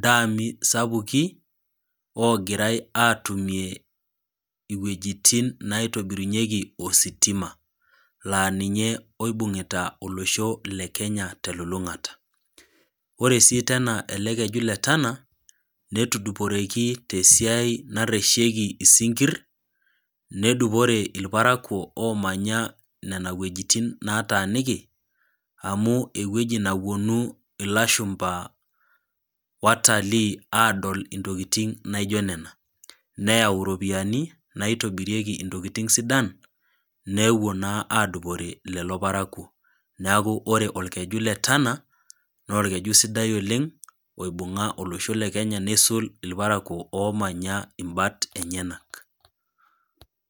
daami sapuki naa ninye etii iwejitin negirae atumie ositima laa ninye oibungita olosho lekenya telulungata . Ore sii tena elekeju letana netuduporeki tesiai nareshieki isinkir nedupore irparakwo omanya nena wuejitin nataniki amu ewueji naponu ilashumba watalii adol intokitin naijo nena neyau iropiyiani naitobirieki ntokitin sidan nepuo naa adupore lelo parakwo neeku ore okeju letana naa orkeju sidai oleng oibunga olosho lekenya neisul irparkwo omanya imbat enyenak